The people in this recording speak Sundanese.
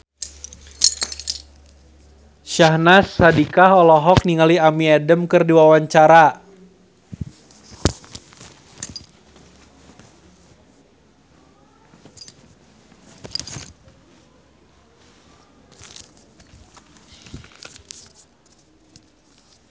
Syahnaz Sadiqah olohok ningali Amy Adams keur diwawancara